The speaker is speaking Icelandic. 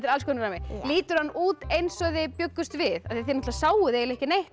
alls konar rammi lítur hann út eins og þið bjuggust við þið sáuð eiginlega ekki neitt